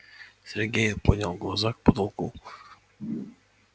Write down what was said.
сергей поднял глаза к потолку